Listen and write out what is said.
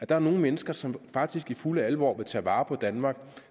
der er nogle mennesker som faktisk i fulde alvor vil tage vare på danmark